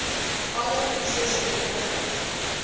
alle prosesse betrokke